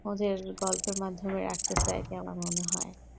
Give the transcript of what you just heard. ওদের গল্পরে মাধ্যমে রাখতেছে আরকি আমার মনে হয়